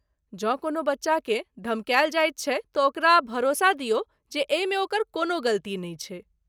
जँ कोनो बच्चाकेँ धमकायल जाइत छै तँ ओकरा भरोसा दियौ जे एहिमे ओकर कोनो गलती नहि छै।